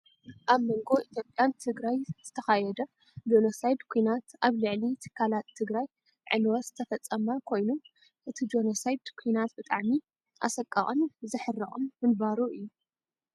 ኣብ መንጎ ኢትዮጵያን ትግራይ ዝተካየደ ጆኖሳይድ ኩናት ኣብ ልዕሊ ትካላት ትግራይ ዕንወት ዝተፈፀመ ኮይኑ፣ እቲ ጆኖሳይድ ኩናት ብጣዕሚ ኣሰቃቅን ዝሕርቅን ምንባሩ እዩ።